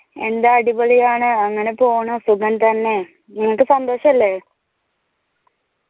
എന്താ അടിപൊളിയാണ് അങ്ങനെ പോണു സുഖംതന്നെ നിങ്ങൾക്ക് സന്തോഷല്ലേ